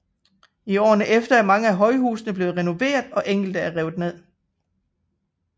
I årene efter er mange af højhusene blevet renoveret og enkelte er revet ned